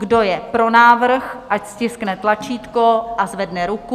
Kdo je pro návrh, ať stiskne tlačítko a zvedne ruku.